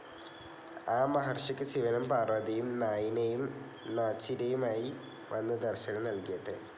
ആ മഹർഷിക്ക് ശിവനും പാർവതിയും നായിനയും നാച്ചിയാരുമായി വന്നു ദർശനം നൽകിയത്രേ.